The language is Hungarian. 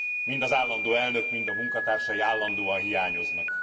Mind az állandó elnök, mind a munkatársai állandóan hiányoznak.